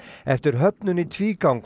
eftir höfnun í tvígang